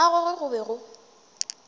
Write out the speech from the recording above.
ga gagwe go be go